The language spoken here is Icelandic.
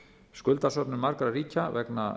skuldasöfnun margra ríkja vegna